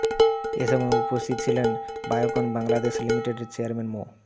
এ সময় উপস্থিত ছিলেন বায়োকন বাংলাদেশ লিমিটেডের চেয়ারম্যান মো